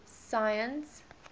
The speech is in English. science